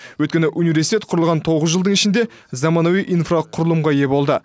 өйткені университет құрылған тоғыз жылдың ішінде заманауи инфрақұрылымға ие болды